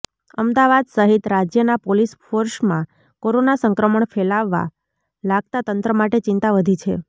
અમદાવાદ સહિત રાજ્યના પોલીસ ફોર્સમાં કોરોના સંક્રમણ ફેલાવા લાગતા તંત્ર માટે ચિંતા વધી છે